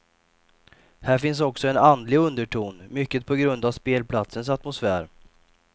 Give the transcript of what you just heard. Här finns också en andlig underton mycket på grund av spelplatsens atmosfär.